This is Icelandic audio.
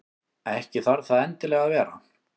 Ekki þarf það endilega að vera.